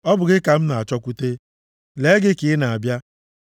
Ọ bụ gị ka m na-achọkwute, lee gị ka ị na-abịa.